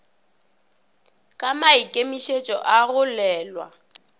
ka maikemišitšo a go lwela